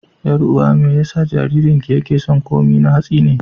Ƴar'uwa me yasa jaririnki yake son komai na hatsi ne?